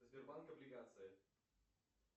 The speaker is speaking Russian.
сбербанк облигации